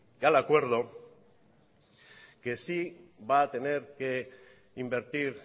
y al acuerdo que sí va a tener que invertir